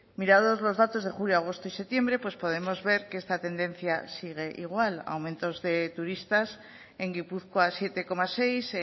mirados los datos de julio agosto y septiembre pues podemos ver que esta tendencia sigue igual aumentos de turistas en gipuzkoa siete coma seis